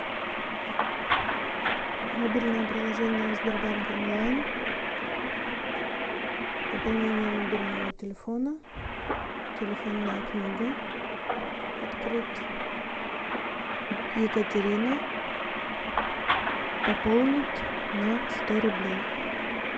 мобильное приложение сбербанк онлайн пополнение мобильного телефона телефонная книга открыть екатерина пополнить на сто рублей